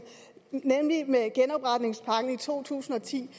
med genopretningspakken i to tusind og ti